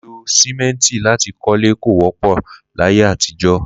Lílo sìmẹ́ǹtì láti kọ́lé kò wọ́pọ̀ láyé àtijọ́